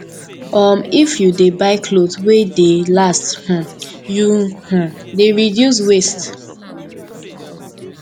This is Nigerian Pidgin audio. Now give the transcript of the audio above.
um if you dey buy clothes wey dey last um you um dey reduce waste